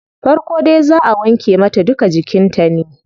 Farko dai zaa wanke mata duka jikin ta ne